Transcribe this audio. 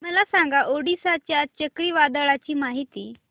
मला सांगा ओडिशा च्या चक्रीवादळाची माहिती